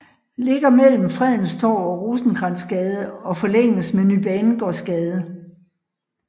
Ligger mellem Fredens Torv og Rosenkrantzgade og forlænges med Ny Banegårdsgade